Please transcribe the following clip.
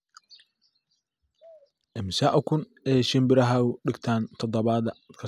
immisa ukun ayay shinbirahaagu dhigtaan toddobaad kasta